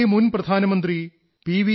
നമ്മുടെ ഈ മുൻ പ്രധാനമന്ത്രി ശ്രീ